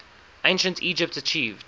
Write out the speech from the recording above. ancient egypt achieved